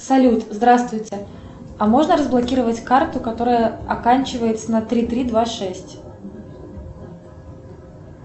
салют здравствуйте а можно разблокировать карту которая оканчивается на три три два шесть